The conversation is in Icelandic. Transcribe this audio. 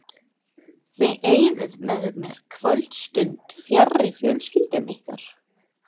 Þið eyðið með mér kvöldstund fjarri fjölskyldum ykkar.